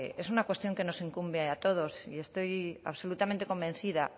es una cuestión que nos incumbe a todos y estoy absolutamente convencida